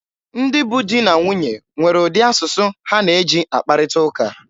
Ndị bụ di na nwunye nwere ụdị asụsụ ha na-eji akparịta ụka.